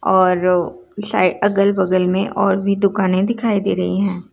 और साय अगल-बगल में और भी दुकाने दिखाई दे रही हैं।